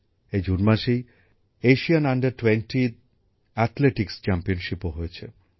এই জুন মাসেই এশিয়ান অনুর্ধ ২০ অ্যাথলেটিকস চ্যাম্পিয়নশিপও হয়েছে